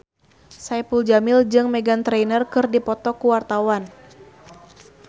Saipul Jamil jeung Meghan Trainor keur dipoto ku wartawan